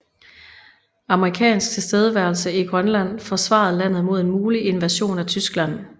Amerikansk tilstedeværelse i Grønland forsvarede landet mod en mulig invasion af Tyskland